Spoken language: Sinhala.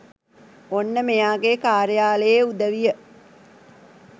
ඔන්න මෙයාගෙ කාර්යාලයේ උදවිය